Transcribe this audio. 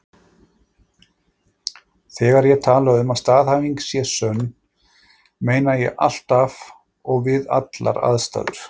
Þegar ég tala um að staðhæfing sé sönn, meina ég alltaf og við allar aðstæður.